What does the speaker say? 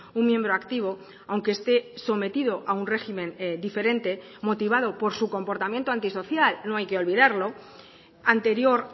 un miembro activo aunque esté sometido a un régimen diferente motivado por su comportamiento antisocial no hay que olvidarlo anterior